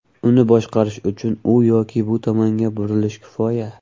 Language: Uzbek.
Uni boshqarish uchun u yoki bu tomonga burilish kifoya.